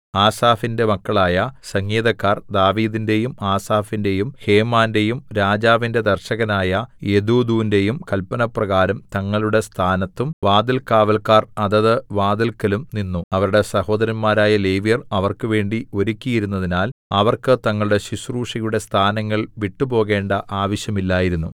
ആസാഫിന്റെ മക്കളായ സംഗീതക്കാർ ദാവീദിന്റെയും ആസാഫിന്റെയും ഹേമാന്റെയും രാജാവിന്റെ ദർശകനായ യെദൂഥൂന്റെയും കല്പനപ്രകാരം തങ്ങളുടെ സ്ഥാനത്തും വാതിൽകാവല്ക്കാർ അതത് വാതില്‍ക്കലും നിന്നു അവരുടെ സഹോദരന്മാരായ ലേവ്യർ അവർക്കുവേണ്ടി ഒരുക്കിയിരുന്നതിനാൽ അവർക്ക് തങ്ങളുടെ ശുശ്രൂഷയുടെ സ്ഥാനങ്ങൾ വിട്ടുപോകേണ്ട ആവശ്യമില്ലായിരുന്നു